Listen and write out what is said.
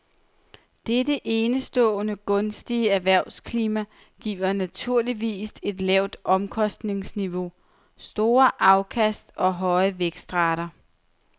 Dette enestående gunstige erhvervsklima giver naturligvis et lavt omkostningsniveau, store afkast og høje vækstrater.